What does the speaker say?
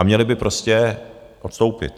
A měli by prostě odstoupit.